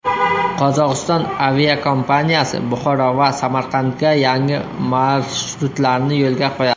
Qozog‘iston aviakompaniyasi Buxoro va Samarqandga yangi marshrutlarni yo‘lga qo‘yadi.